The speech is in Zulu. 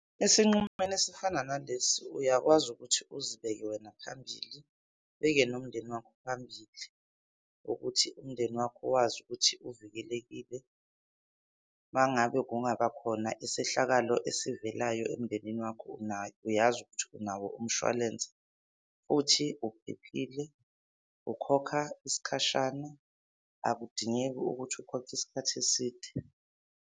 Esinqumweni esifana nalesi uyakwazi ukuthi uzibeke wena phambili, ubeke nomndeni wakho phambili ukuthi umndeni wakho wazi ukuthi uvikelekile. Mangabe kungaba khona isehlakalo esivelayo emndenini wakho unayo, uyazi ukuthi unawo umshwalense futhi uphephile. Ukhokha isikhashana, akudingeki ukuthi ukhokhe isikhathi eside.